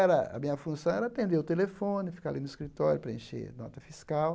a minha função era atender o telefone, ficar ali no escritório, preencher nota fiscal.